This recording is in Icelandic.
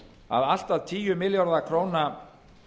að allt að tíu milljarða króna